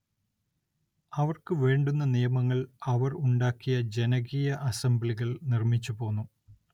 അവർക്ക് വേണ്ടുന്ന നിയമങ്ങൾ അവർ ഉണ്ടാക്കിയ ജനകീയ അസംബ്ലികൾ നിർമ്മിച്ചു പോന്നു.